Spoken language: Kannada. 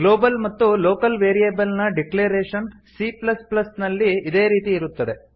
ಗ್ಲೋಬಲ್ ಮತ್ತು ಲೋಕಲ್ ವೇರಿಯೇಬಲ್ ನ ಡಿಕ್ಲೇರೇಶನ್ ಸಿ ಪ್ಲಸ್ ಪ್ಲಸ್ ನಲ್ಲಿ ಇದೇ ರೀತಿ ಇರುತ್ತದೆ